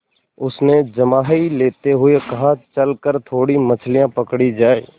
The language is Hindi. उसने जम्हाई लेते हुए कहा चल कर थोड़ी मछलियाँ पकड़ी जाएँ